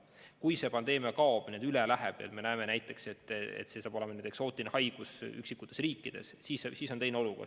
Kui see pandeemia kaob, üle läheb ja me näeme näiteks, et see saab olema edaspidi eksootiline haigus üksikutes riikides, siis on teine olukord.